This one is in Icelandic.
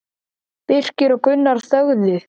Birkir og Gunnar þögðu.